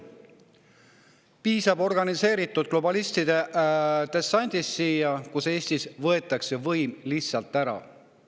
Piisab organiseeritud globalistide dessandist siia ja Eestis võetakse võim lihtsalt üle.